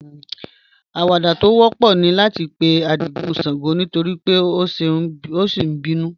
Àwàdà tó wọ̀pọ̀ ní láti pè̩ Ádìgún ṣàngó nítorí bí ó ṣé n bínú